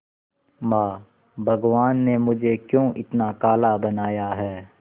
मां भगवान ने मुझे क्यों इतना काला बनाया है